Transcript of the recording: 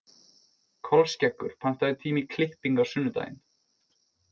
Kolskeggur, pantaðu tíma í klippingu á sunnudaginn.